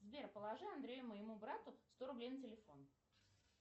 сбер положи андрею моему брату сто рублей на телефон